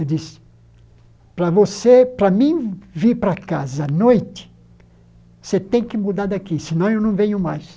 Ele disse, para você para mim vir para casa à noite, você tem que mudar daqui, senão eu não venho mais.